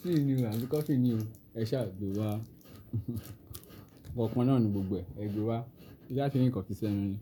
Tíì ni o àbí kọfí ni o? Ẹ ṣáà gbé wá. Ǹkan kannáà ni gbogbo ẹ, ẹ gbé wá. Kí n ṣáà ti rí ǹkan fi s'ẹ́nu ni?